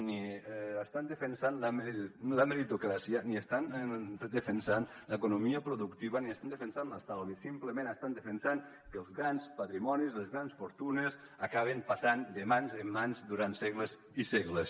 ni estan defensant la meritocràcia ni estan defensant l’economia productiva ni estan defensant l’estalvi simplement estan defensant que els grans patrimonis les grans fortunes acaben passant de mans en mans durant segles i segles